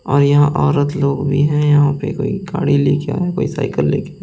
और यहां औरत लोग भी हैं यहां पे कोई गाड़ी लेके आया है कोई साइकिल लेके -----